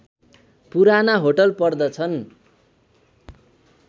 पुराना होटल पर्दछन्